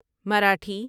Marathi